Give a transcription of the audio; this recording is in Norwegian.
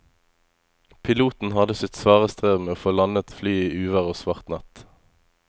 Piloten hadde sitt svare strev med å få landet flyet i uvær og svart natt.